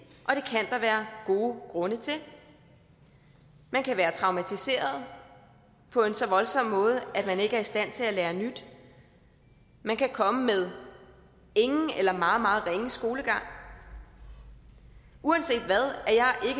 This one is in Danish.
kan der være gode grunde til man kan være traumatiseret på en så voldsom måde at man ikke er i stand til at lære nyt man kan komme med ingen eller meget meget ringe skolegang uanset hvad